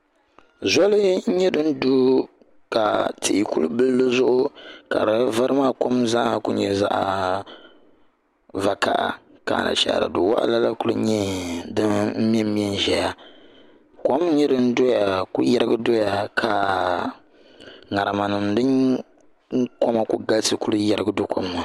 zoli n nyɛ din du ka tihi kuli bili dizuɣu ka di vari maa kom maa ku nyɛ zaɣ vakaɣa ka anashaara du waɣala la ku nyɛ din mɛnmɛ n ʒɛya kom n nyɛ din ku yirigi doya ka ŋarima din koma ku galisi ku yirigi do kom maa ni